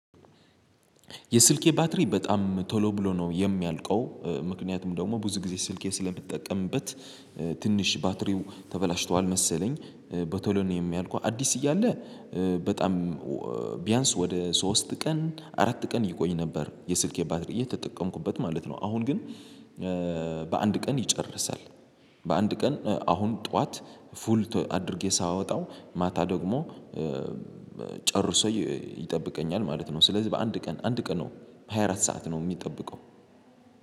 የስልኬ ባትሪ በጣም ቶሎ ብሎ ነው የሚያልቀው ምክንያቱም ደግሞ ብዙ ጊዜ ስልኬ ስለምትጠቀምበት ትንሽ ባትሪው ተበላሽቷል መሰለኝ። በቶሎ ነው የሚያልቀው አዲስ እያለ። በጣም ቢያንስ ወደ ሶስት ቀን አራት ቀን ይቆይ ነበር። የስልኬ ባትሪ እየተጠቀምኩበት ማለት ነው። አሁን ግን በአንድ ቀን ይጨርሳል። በአንድ ቀን አሁን ጠዋት ፉል አድርጌ ሳወጣው ማታ ደግሞ ጨርሶ ይጠብቀኛል ማለት ነው። ስለዚህ በአንድ ቀን አንድ ቀን ነው በሃያ አራት ሰዓት ነው የሚጠብቀው